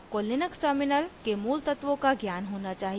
आपको Linux terminal के मूलतत्वों का ज्ञान होना चाहिए